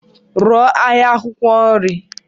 Rụọ ahịa akwụkwọ nri.